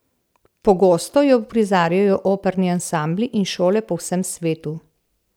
Pogosto jo uprizarjajo operni ansambli in šole po vsem svetu.